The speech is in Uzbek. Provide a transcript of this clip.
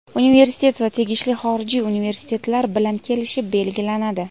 Universitet va tegishli xorijiy universitetlar bilan kelishib belgilanadi.